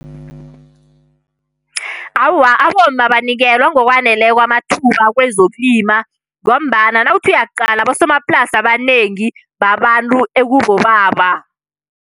Awa, abomma abanikelwa ngokwaneleko amathuba kwezokulima, ngombana nawuthi uyaqala, abosomaplasi abanengi babantu ekubobaba.